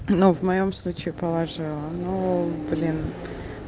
но в моём случае положила ну блин